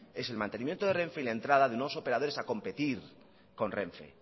es el mantenimiento de renfe y la entrada de nuevos operadores a competir con renfe